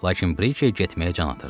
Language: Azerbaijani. Lakin Brikey getməyə can atırdı.